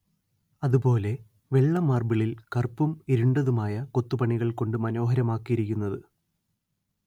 അതുപോലെ വെള്ള മാർബിളിൽ കറുപ്പും ഇരുണ്ടതുമായ കൊത്തുപണികൾ കൊണ്ട് മനോഹരമാക്കിയിരിക്കുന്നത്